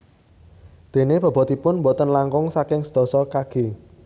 Déné bobotipun boten langkung saking sedasa kg